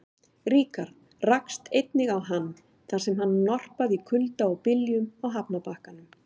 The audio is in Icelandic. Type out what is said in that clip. Ríkharð rakst einnig á hann, þar sem hann norpaði í kulda og byljum á hafnarbakkanum.